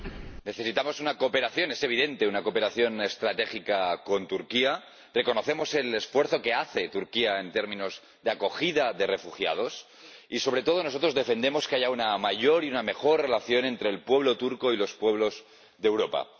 Señor Presidente, necesitamos una cooperación, es evidente, una cooperación estratégica con Turquía. Reconocemos el esfuerzo que hace Turquía en términos de acogida de refugiados y, sobre todo, nosotros defendemos que haya una mayor y una mejor relación entre el pueblo turco y los pueblos de Europa.